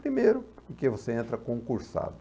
Primeiro, porque você entra concursado.